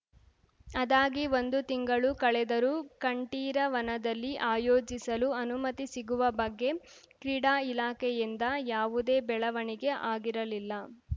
ಅದಾಗಿ ಒಂದು ತಿಂಗಳು ಕಳೆದರೂ ಕಂಠೀರವನದಲ್ಲಿ ಆಯೋಜಿಸಲು ಅನುಮತಿ ಸಿಗುವ ಬಗ್ಗೆ ಕ್ರೀಡಾ ಇಲಾಖೆಯಿಂದ ಯಾವುದೇ ಬೆಳವಣಿಗೆ ಆಗಿರಲಿಲ್ಲ